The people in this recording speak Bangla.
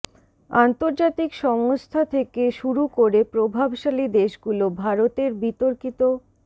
আন্তর্জাতিক সংস্থা থেকে শুরু করে প্রভাবশালী দেশগুলো ভারতের বিতর্কিত